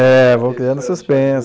É, vão criando suspense.